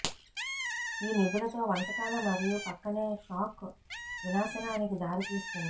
ఈ నిధులతో వంటకాల మరియు ప్రక్కనే షాక్ వినాశనానికి దారి తీస్తుంది